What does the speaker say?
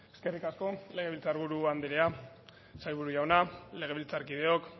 eskerrik asko legebiltzar buru andrea sailburu jauna legebiltzarkideok